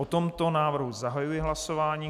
O tomto návrhu zahajuji hlasování.